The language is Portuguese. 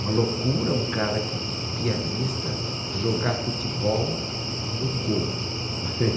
Uma loucura um cara que, pianista, jogar futebol no gol.